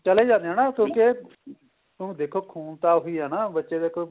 ਚਲੇ ਜਾਂਦੇ ਏ ਕਿਉਂਕਿ ਇਹ ਹੁਣ ਦੇਖੋ ਖੂਨ ਤਾਂ ਉਹੀ ਹੈ ਨਾ ਬੱਚੇ ਦੇਖੋ